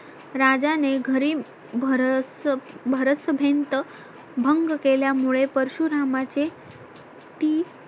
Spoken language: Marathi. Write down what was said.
राजाने घरी भर भरस भीत भंग केल्यामुळे परशुरामाचे ती